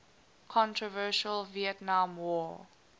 controversial vietnam war